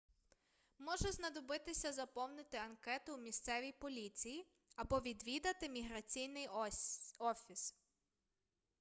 може знадобитися заповнити анкету у місцевій поліції або відвідати міграційний офіс